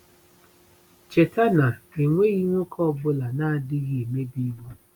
Cheta na “enweghị nwoke ọ bụla na-adịghị emebi iwu.”